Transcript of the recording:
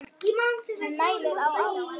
Hann mælir á alþjóða